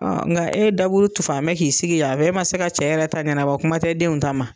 Ɔ nka e da bolo tu fan bɛ k'i sigi yan a fɛn, e ma se ka cɛ yɛrɛ ta ɲɛnɛbɔ fɔlɔ kuma tɛ denw ta ma.